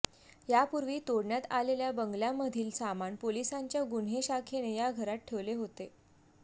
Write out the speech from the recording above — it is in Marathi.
यापूर्वी तोडण्यात आलेल्या बंगल्यामधील सामान पोलिसांच्या गुन्हे शाखेने या घरात ठेवले होते